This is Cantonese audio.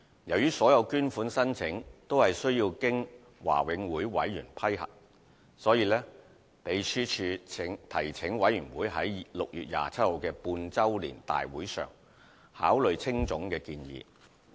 由於所有捐款申請均須經華永會委員批核，因此秘書處提請委員會於6月27日的半周年大會上考慮青總的建議。